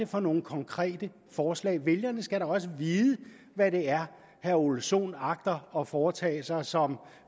for nogle konkrete forslag vælgerne skal da også vide hvad det er herre ole sohn agter at foretage sig som